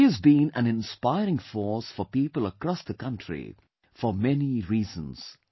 She has been an inspiring force for people across the country for many reasons